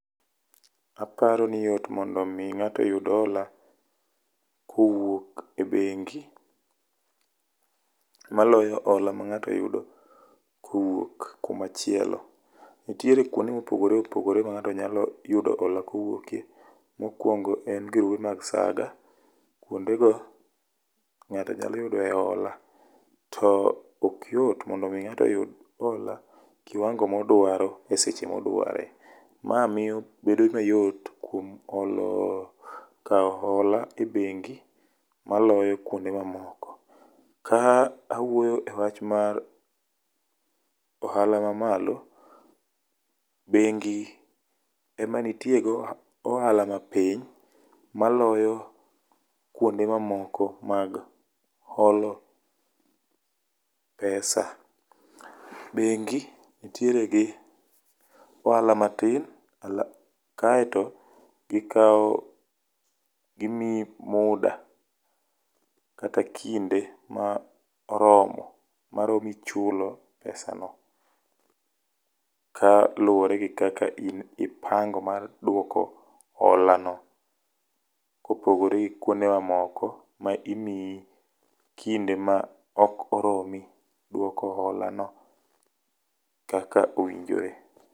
Aparo ni yot mondo omi ng'ato oyud hola kowuok e bengi, maloyo hola ma ng'ato yudo kowuok kumachielo. Nitiere kuonde mopogore opogore ma ng'ato nyalo yudo hola kowuokye. Mokwongo en grube mag saga. Kuondego, ng'ato nyalo yude hola to okyot mondo omi ng'ato oyud hola kiwango modwaro e seche modware. Ma bedo mayot kuom kawo hola e bengi, moloyo kuonde mamoko. Ka awuoyo e wach mar ohala mamalo, bengi ema nitie go ohala mapiny maloyo kuonde mamoko mag holo pesa. Bengi ntiere gi ohala matin kaeto gimiyi muda kata kinde ma oromo, maromi chulo pesano kaluwore gi kaka in ipango mar duoko holano kopogore gi kuonde mamoko ma imiyi kinde ma ok oromi duoko holano kaka owinjore.